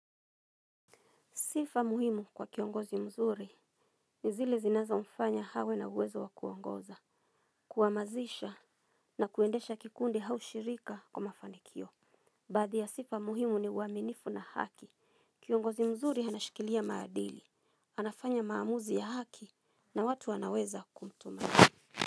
Sifa muhimu kwa kiongozi mzuri ni zile zinazo mfanya hawe na uwezo wa kuongoza, kuamazisha na kuendesha kikundi hau shirika kwa mafanikio. Baadhi ya sifa muhimu ni uaminifu na haki, kiongozi mzuri anashikilia maadili, anafanya maamuzi ya haki na watu anaweza kumtuma.